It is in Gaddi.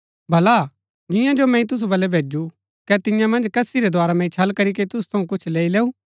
भला जियां जो मैंई तुसु बलै भैजू कै तियां मन्ज कसी रै द्धारा मैंई छल करीके तुसु थऊँ कुछ लैई लैऊ